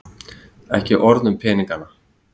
Ekki orð um peningana.